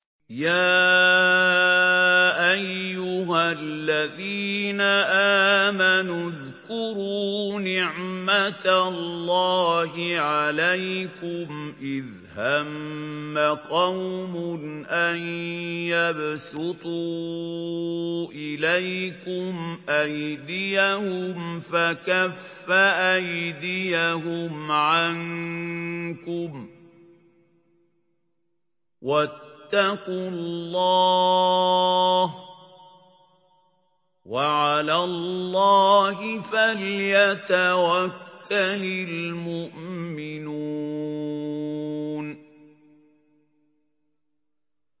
يَا أَيُّهَا الَّذِينَ آمَنُوا اذْكُرُوا نِعْمَتَ اللَّهِ عَلَيْكُمْ إِذْ هَمَّ قَوْمٌ أَن يَبْسُطُوا إِلَيْكُمْ أَيْدِيَهُمْ فَكَفَّ أَيْدِيَهُمْ عَنكُمْ ۖ وَاتَّقُوا اللَّهَ ۚ وَعَلَى اللَّهِ فَلْيَتَوَكَّلِ الْمُؤْمِنُونَ